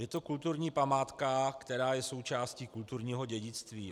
Je to kulturní památka, která je součástí kulturního dědictví.